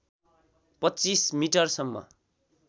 २५ metre सम्म